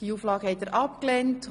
Sie haben Auflage 5 abgelehnt.